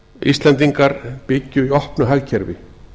íslendingar byggju í opnu hagkerfi